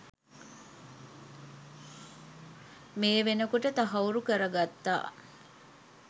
මේ වෙනකොට තහවුරු කරගත්තා